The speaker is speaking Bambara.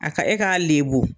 A ka e k'a lebu